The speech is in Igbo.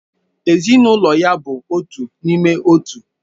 Ezinụlọ ya bụ otu n'ime otu